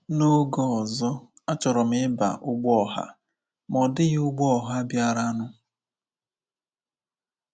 N’oge ọzọ, achọrọ m ịba ụgbọ ọha, ma ọ dịghị ụgbọ ọha bịaranụ.